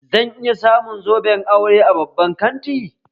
Zan iya samu zoben aure a babban kanti?